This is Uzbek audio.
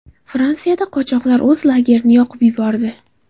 Fransiyada qochoqlar o‘z lagerini yoqib yubordi.